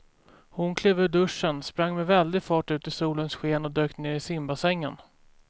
Hon klev ur duschen, sprang med väldig fart ut i solens sken och dök ner i simbassängen.